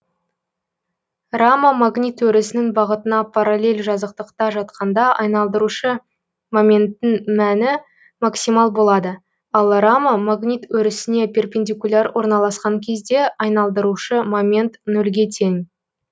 рама магнит өрісінің бағытына параллель жазықтықта жатқанда айналдырушы моменттің мәні максимал болады ал рама магнит өрісіне перпендикуляр орналаскан кезде айналдырушы момент нөлге тең